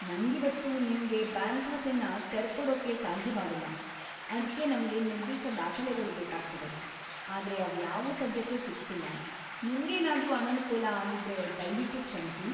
ನಂಗಿವತ್ತು ನಿಮ್ಗೆ ಬ್ಯಾಂಕ್ ಖಾತೆನ ತೆರ್ಕೊಡೋಕೆ ಸಾಧ್ಯವಾಗೋಲ್ಲ. ಅದ್ಕೆ ನಮ್ಗೆ ನಿರ್ದಿಷ್ಟ ದಾಖಲೆಗಳು ಬೇಕಾಗ್ತವೆ, ಆದ್ರೆ ಅವ್ಯಾವೂ ಸದ್ಯಕ್ಕೆ ಸಿಗ್ತಿಲ್ಲ. ನಿಮ್ಗೇನಾದ್ರೂ ಅನನುಕೂಲ ಆಗಿದ್ರೆ ದಯ್ವಿಟ್ಟು ಕ್ಷಮ್ಸಿ.